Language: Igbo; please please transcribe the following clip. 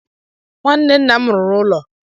Nwanne nna m ruru ụlọ